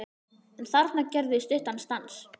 En þarna gerðum við stuttan stans